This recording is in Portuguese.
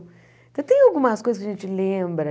Então, tem algumas coisas que a gente lembra.